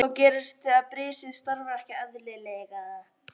Hvað gerist þegar brisið starfar ekki eðlilega?